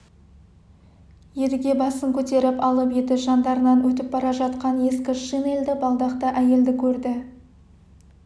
едіге басын көтеріп алып еді жандарынан өтіп бара жатқан ескі шинельді балдақты әйелді көрді